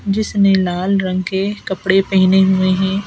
जिसने लाल रंग के कपड़े पहने हुए हैं।